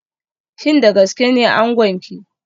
Shin da gaske ne angonki